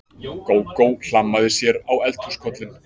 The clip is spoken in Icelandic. Gógó hlammaði sér á eldhúskollinn.